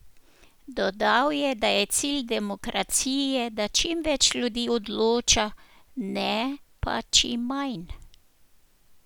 Dodal je, da je cilj demokracije, da čim več ljudi odloča, ne pa čim manj.